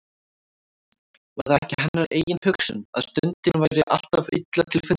Var það ekki hennar eigin hugsun, að stundin væri alltaf illa til fundin.